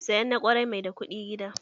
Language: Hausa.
Sayan na kwarai mai da kuɗi gida